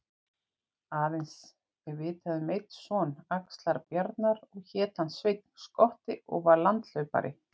Aðeins er vitað um einn son Axlar-Bjarnar og hét hann Sveinn skotti og var landhlaupari